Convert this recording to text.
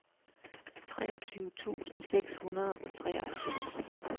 treogtyve tusind seks hundrede og treoghalvfems